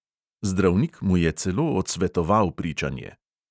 Zdravnik mu je celo odsvetoval pričanje.